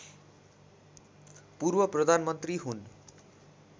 पूर्व प्रधानमन्त्री हुन्